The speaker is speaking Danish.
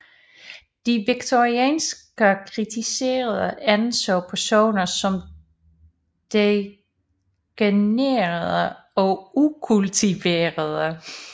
De victorianske kritikere anså personerne som degenererede og ukultiverede